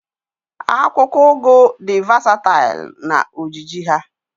Akwụkwọ ugu di vasatail na ojiji ha